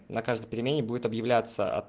на каждой перемене будет объявляться